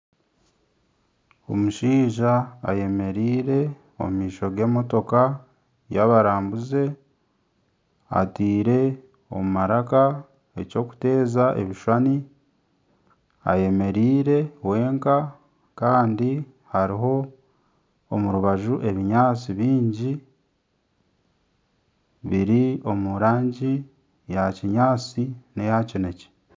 Omushaija ayemereire omu maisho g'emotoka y'abarambuzi. Ateire omu maraka eky'okuteeza ebishushani, ayemereire wenka kandi hariho omu rubaju ebinyaatsi bingi biri omu rangi eya kinyaatsi n'eya kinekye.